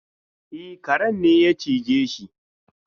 E, karen ne ya cije shi.